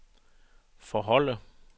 forholde